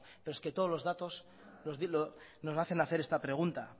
pero es que todos los datos nos hacen hacer esta pregunta